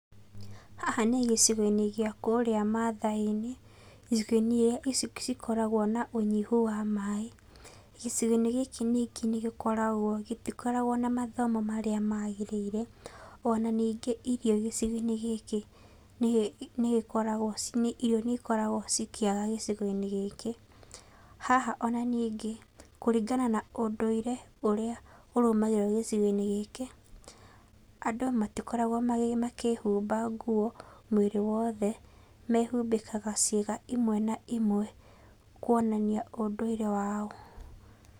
Haha nĩ gĩcigo-inĩ gĩa kũrĩa maathai-inĩ, icigo-inĩ iria gũkoragwo na ũnyihu wa maĩ. Gĩcigo-inĩ gĩkĩ ningĩ gũtikoragwo na mathomo marĩa magĩrĩire. Onaningĩ irio gĩcigo-inĩ gĩkĩ nĩ gĩkoragwo, ĩrio nĩ ciagaga gĩcigo-inĩ gĩkĩ. Haha ona ningĩ, kũringa na ũndũire ũrĩa ũrũmagĩrĩrwo gĩcigo-inĩ gĩkĩ, andũ matikoragwo makĩhumba nguo mwĩrĩ wothe, mehumbĩkaga ciĩga imwe na imwe kwonania ũndũire wao.